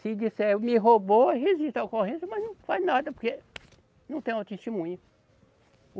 Se disser, me roubou, registra a ocorrência, mas não faz nada porque não tem uma testemunha.